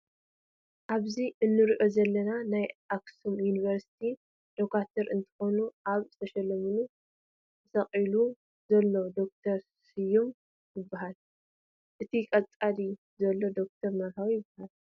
ኣብዚ እንሪኦም ዘለና ናይ ኣክሱም ዩኒቨርስቲ ዶጓትር እንትኮኑ ኣብ ዝተሸለመት ተሰቂሉ ዘሎ ዶ/ር ስዮም ይበሃል። እቲ ቀፂሉ ዘሎ ዶ/ር መርሃዊ ይበሃል።